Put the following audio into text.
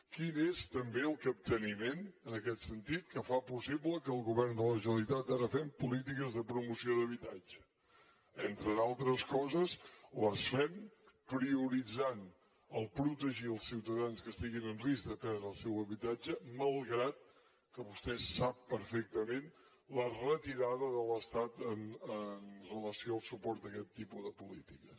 quin és també el capteniment en aquest sentit que fa possible que el govern de la generalitat ara fem polítiques de promoció d’habitatge entre d’altres coses les fem prioritzant el fet de protegir els ciutadans que estiguin en risc de perdre el seu habitatge malgrat que vostè ho sap perfectament la retirada de l’estat amb relació al suport a aquest tipus de polítiques